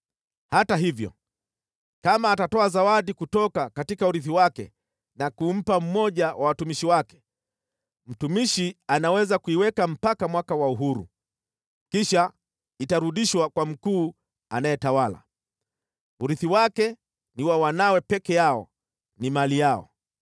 Hata hivyo, kama atatoa zawadi kutoka urithi wake na kumpa mmoja wa watumishi wake, mtumishi anaweza kuiweka mpaka mwaka wa uhuru, kisha itarudishwa kwa mkuu anayetawala. Urithi wake ni wa wanawe peke yao, ni mali yao.